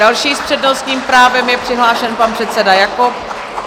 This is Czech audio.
Další s přednostním právem je přihlášen pan předseda Jakob.